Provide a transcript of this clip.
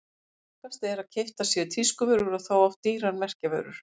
Algengast er að keyptar séu tískuvörur og þá oft dýrar merkjavörur.